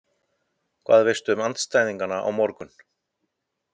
Hvað veistu um andstæðingana á morgun?